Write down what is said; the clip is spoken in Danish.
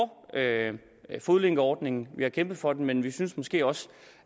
fodlænkeordningen vi har kæmpet for den men vi synes måske også